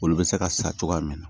Olu bɛ se ka sa cogoya min na